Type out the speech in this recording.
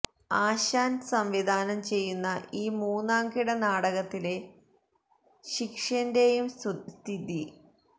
ആശാന് സംവിധാനം ചെയ്യുന്ന ഈ മൂന്നാം കിട നാടകത്തിലെ ശിക്ഷ്യന്റെയും സ്തുതി